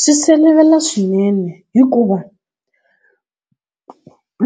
Swi sivelela swinene hikuva,